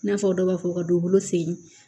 I n'a fɔ dɔ b'a fɔ ka dugukolo fe yen